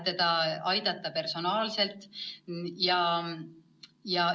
Siis saab teda personaalselt aidata.